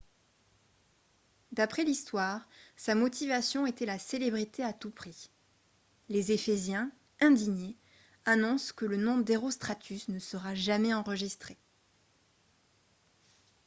d'après l'histoire sa motivation était la célébrité à tout prix les ephésiens indignés annoncent que le nom d'herostratus ne sera jamais enregistré